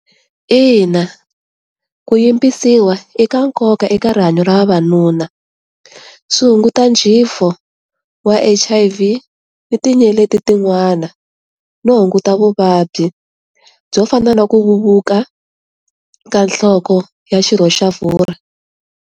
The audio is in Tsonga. Ina, ku yimbisiwa i ka nkoka eka rihanyo ra vavanuna swi hunguta jifo wa H_I_V ni tinyeleti tin'wana no hunguta vuvabyi byo fana na ku vevuka ka nhloko ya xirho xa .